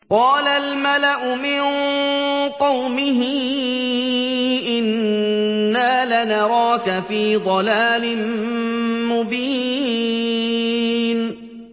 قَالَ الْمَلَأُ مِن قَوْمِهِ إِنَّا لَنَرَاكَ فِي ضَلَالٍ مُّبِينٍ